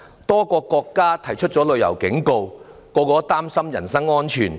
多個國家發出旅遊警告，所有人均擔心人身安全。